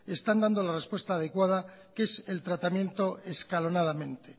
están dando la respuesta adecuada que es el tratamiento escalonadamente